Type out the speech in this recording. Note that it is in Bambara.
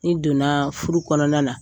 N'i donna furu kɔnɔna na